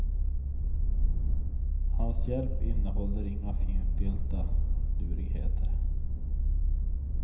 Hans hjälp innehåller inga finstilta lurigheter.